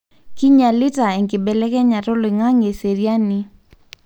kinyialita enkibelekenyata oloinagnge eseriani .